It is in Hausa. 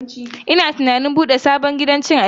Ina tunanin bude sabon gidan cin abinci.